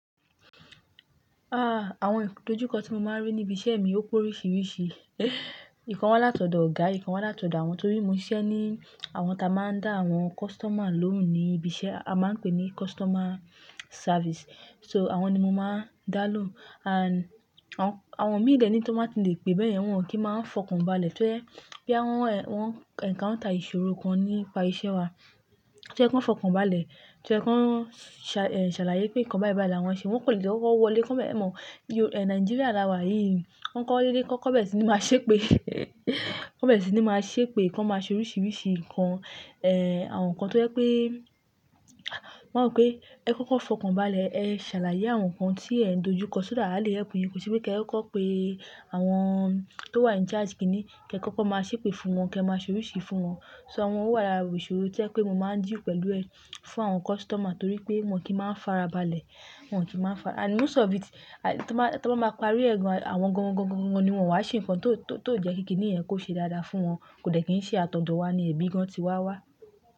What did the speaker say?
Ah! Àwọn ìdojúkọ tí mo máa ń rí ní ibi iṣẹ́ mi ó pe oríṣiríṣi. Ìkan wọ́n láti ọ̀dọ̀ ọ̀gá, ìkan wọ́n láti ọ̀dọ̀ àwọn torí mo ń ṣiṣẹ́ ní àwọn tí a máa ń dá àwọn customer lóhùn ní ibi iṣẹ́, a máa ń pè ní customer service. So àwọn ni mo máa ń dá lóhùn and àwọn, àwọn míì dẹ̀ ni tón ba ti lè pe bẹ́yẹn, wọn kì í máa ń fọkàn balẹ̀ toje boya wọn, wọ́n encounter ìṣòro kan nípa iṣẹ́ wa. Tí ye kan fọkàn balẹ̀, to ye kan ṣàlàyé pé nǹkan bái bái lawọn ṣe, wọn kò lè de kó n wọlé, e mọ̀. Yo, Nigeria la wà yìí. Wọ́n kọ́ dé dé kọ́, kọ́ bẹ́rẹ̀ sì ni máa ṣépè. Kan bẹ́rẹ̀ sì ni máa ṣépè, kan máa ṣe oríṣiríṣi nǹkan, eh àwọn nǹkan tó jẹ́ pé, mo máa rò pé ẹ kọ́ kọ́ fọkàn balẹ̀, ẹ ṣàlàyé àwọn nǹkan tí ẹ̀ ń dojúkọ so that a lè ẹpù yín. Kò sí pé kí ẹ kó pe àwọn tó wà in charge kì í ní, kí ẹ kọ́ kọ́ máa ṣépè fún wọn, kí ẹ máa ṣe oríṣìí fún wọn. So àwọn wà lára ìṣòro tí o jẹ pé mo máa ń deal pẹ̀lú ẹ fún àwọn customer torí pé wọ́n kì í máa ń fara balẹ̀, wọ́n kì í máa ń fara- and most of it, tí wọ́n bá, tí wọ́n bá ma parí ẹ̀ gàn, àwọn gangan gangan ni wọ́n wá ṣe nǹkan tó, tó jẹ́ kí kíníyẹn kó ṣe dáadáa fún wọn. Kò dẹ̀ kí n ṣe àtọ̀dọ̀ wá ní, ẹbí gan tí wa wá.